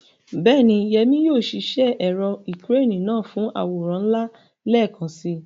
Bẹ́ẹ̀ni, Yemi yóò ṣiṣẹ́ ẹ̀rọ ìkẹ́rẹ́nì náà fún àwòrán ńlá lẹ́ẹ̀kan si.